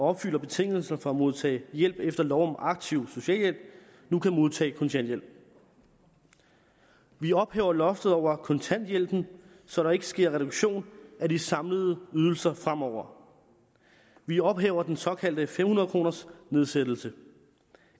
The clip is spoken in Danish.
opfylder betingelsen for at modtage hjælp efter lov om aktiv socialhjælp nu kan modtage kontanthjælp vi ophæver loftet over kontanthjælpen så der ikke sker en reduktion af de samlede ydelser fremover vi ophæver den såkaldte fem hundrede kroners nedsættelse